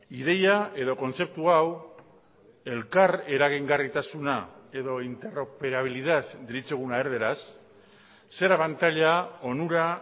ideia edo kontzeptu hau elkar eragingarritasuna edo interoperabilidad deritzoguna erderaz zer abantaila onura